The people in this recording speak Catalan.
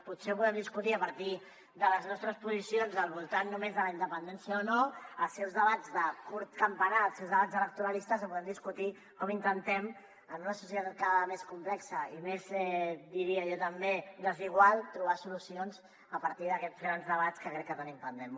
potser ho podem discutir a partir de les nostres posicions al voltant només de la independència o no els seus debats de curt campanar els seus debats electoralistes o podem discutir com intentem en una societat cada vegada més complexa i més diria jo també desigual trobar solucions a partir d’aquests grans debats que crec que tenim pendents